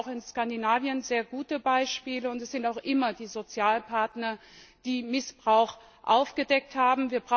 Wir haben da auch in Skandinavien sehr gute Beispiele, und es sind auch immer die Sozialpartner, die Missbrauch aufgedeckt haben.